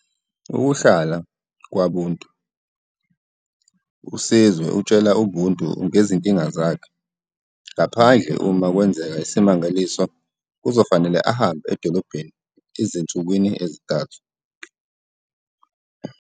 Ukuhlala kwaBuntu, uSizwe utshela uBuntu ngezinkinga zakhe - ngaphandle uma kwenzeka isimangaliso, kuzofanele ahambe edolobheni ezinsukwini ezintathu.